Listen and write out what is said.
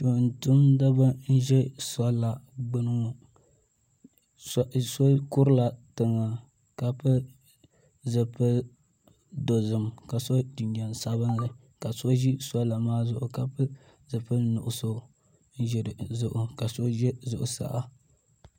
Tumtumdiba m be sola gbini ŋɔ so kurila tiŋa ka pili zipil'dozim ka so jinjiɛm sabinli ka so ʒi sola maa zuɣu ka pili zipil'nuɣuso n ʒi dizuɣu ka so ʒɛ zuɣusaa.